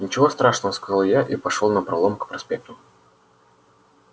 ничего страшного сказал я и пошёл напролом к проспекту